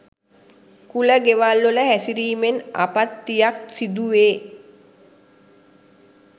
කුල ගෙවල්වල හැසිරීමෙන් ආපත්තියක් සිදුවේ.